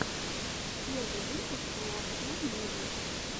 первый выпуск нуахюл муви